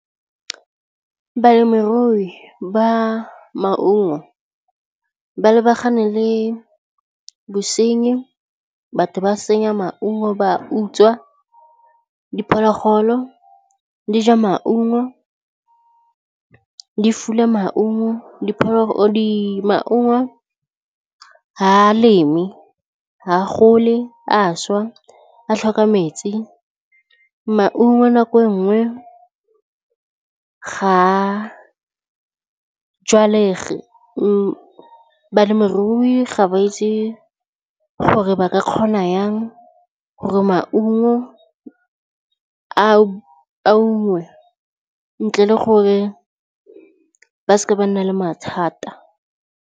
Balemirui ba maungo ba lebagane le bosenyi batho ba senya maungo ba utswa, diphologolo di ja maungo di fula maungo maungo ha leme ga a gole a šwa a tlhoka metsi, maungo nako nngwe ga jwalega balemirui ga ba itse gore ba ka kgona yang gore maungo a ungwe ntle le gore ba seke ba nna le mathata.